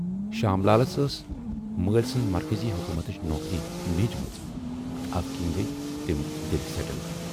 شام لالس ٲس مٲلۍ سٕنز مرکٔزی حکوٗمتٕچ نوکری میٖج مٕژ تہٕ اوٕکِنۍ گٔیہِ تِم دِلہِ سیٹٕل۔